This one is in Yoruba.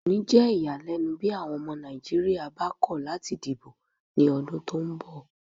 Kò ni jẹ́ iyalẹ́nu bí àwọn ọmọ Nàìjíríyà bá ko lati dìbò ni odun tó ń bọ̀